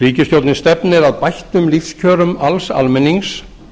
ríkisstjórnin stefnir að bættum lífskjörum alls almennings